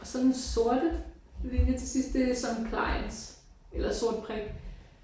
Og så den sorte linje til sidst det er supplies eller sort prik